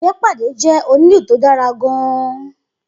Ifepade jẹ́ onílù tó dára gan-an